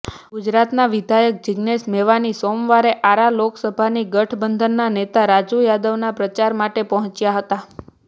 ગુજરાતના વિધાયક જીગ્નેશ મેવાની સોમવારે આરા લોકસભાથી ગઠબંધનના નેતા રાજુ યાદવના પ્રચાર માટે પહોંચ્યા હતા